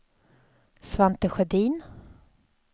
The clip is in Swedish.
Svante Sjödin